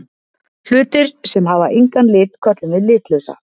Hlutir sem hafa engan lit köllum við litlausa.